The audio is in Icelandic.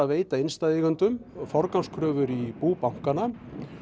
veita innstæðueigendum forgangskröfur í bú bankanna